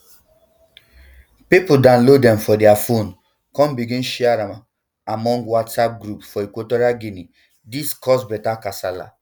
pipo download dem for dia phones kon begin share am among whatsapp groups for equatorial guinea dis cause beta kasala